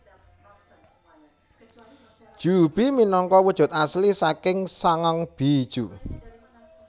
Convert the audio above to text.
Juubi minangka wujud asli saking sangang bijuu